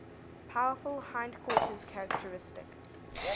powerful hindquarters characteristic